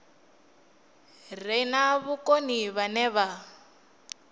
re na vhukoni vhane vha